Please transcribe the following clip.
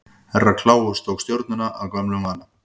Herra Kláus tók stjórnina að gömlum vana.